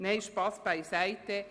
Nein, Spass beiseite!